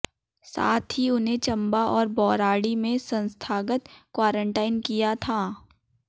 साथ ही उन्हें चंबा और बौराड़ी में संस्थागत क्वारंटीन किया था